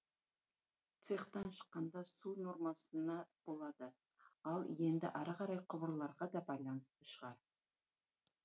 цехтан шыққанда су нормасына болады ал енді ары қарай құбырларға да байланысты шығар